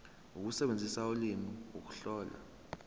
ukusebenzisa ulimi ukuhlola